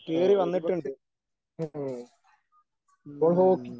ആ ഒരുപക്ഷേ ആ അപ്പോൾ ഹോക്കി